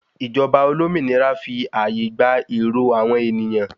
Ìjọba olómìnira fi àyè gba èrò àwọn ènìyàn